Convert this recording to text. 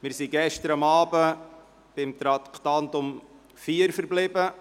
Wir sind gestern beim Traktandum 4 stehen geblieben.